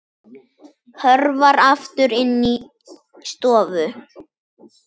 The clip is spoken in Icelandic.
Hörfar aftur inn í stofu.